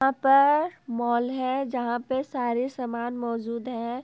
पर मॉल है जहां पे सारे समान मौजूद है।